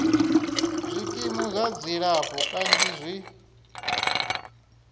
zwikimu zwa dzilafho kanzhi zwi